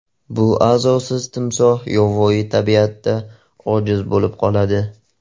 Bu a’zosiz timsoh yovvoyi tabiatda ojiz bo‘lib qoladi.